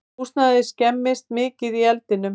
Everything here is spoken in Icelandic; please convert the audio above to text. Húsnæðið skemmdist mikið í eldinum